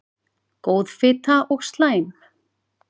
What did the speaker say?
Góð fita og slæm